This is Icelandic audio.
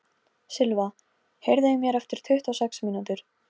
Silva, heyrðu í mér eftir tuttugu og sex mínútur.